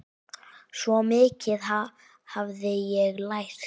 Svo mikið hafði ég lært.